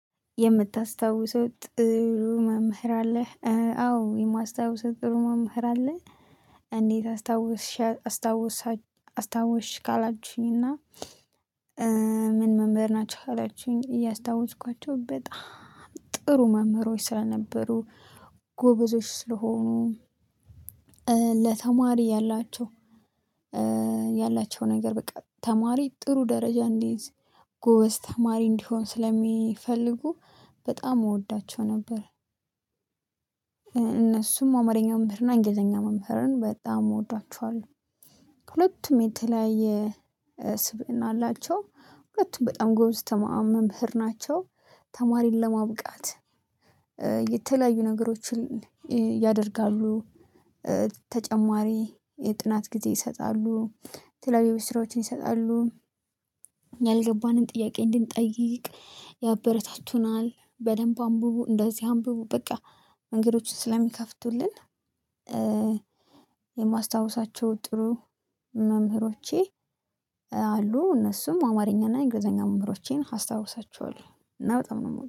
የምታስታውሰው ጥሩ መምህር አለህ አዎ የማስታውሰው ጥሩ መምህር አለ። እንዴት አስታወስሻ አስታወሳች አስታወስሽ ካላችሁኝ? እና ምን መምህር ናቸው ካላችሁኝ? ያስታወስኳቸው በጣም ጥሩ መምህሮች ስለነበሩ ጎበዞች ስለሆኑ ለተማሪ ያላቸው ያላቸው ነገር በቃ ተማሪ ጥሩ ደረጃ እንዲይዝ ጎበዝ ተማሪ እንዲሆን ስለሚፈልጉ በጣም እወዳቸው ነበር። እነሱም አማርኛ መምህርና እንግሊዘኛ መምህርን በጣም እወዳችኋለሁ። ሁለቱም የተለያየ ስብእና አላቸው ሁለቱም በጣም ጎበዝ ተማአ መምህር ናቸው። ተማሪን ለማብቃት የተለያዩ ነገሮችን ያደርጋሉ። ተጨማሪ የጥናት ጊዜ ይሰጣሉ የተለያዩ የቤት ስራዎችን ይሰጣሉ። ያልገባንም ጥያቄ እንድንጠይቅ ያበረታቱናል በደንብ አንብቡ እንደዚህ አንብቡ በቃ መንገዶችን ስለሚከፍቱልን። የማስታውሳቸው ጥሩ መምህሮቼ አሉ እነሱም አማርኛና እንግሊዘኛ መምህሮቼን አስታውሳችኋለሁ እና በጣም ነው የምወደ